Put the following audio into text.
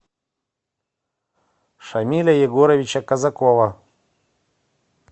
шамиля егоровича казакова